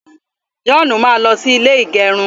joonu, máa lo sí ilè igerun